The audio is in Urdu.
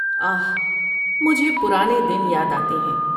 آہ، مجھے پرانے دن یاد آتے ہیں۔